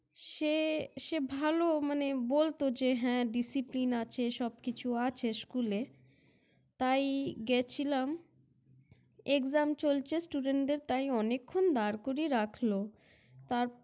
সে সে ভালো মানে বলত যে হ্যাঁ Discipline আছে সবকিছু আছে School -এ, তাই গেছিলাম EXAM চলছে Student দের তাই অনেকক্ষণ দাঁড় করিয়ে রাখল। তার